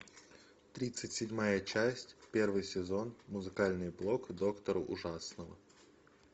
тридцать седьмая часть первый сезон музыкальный блог доктора ужасного